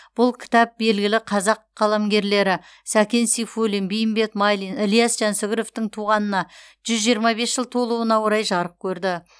бұл кітап белгілі қазақ қаламгерлері сәкен сейфуллин бейімбет майлин ілияс жансүгіровтың туғанына жүз жиырма бес жыл толуына орай жарық көрді